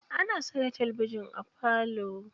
Ana saka talabijin a falo.